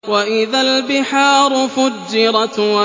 وَإِذَا الْبِحَارُ فُجِّرَتْ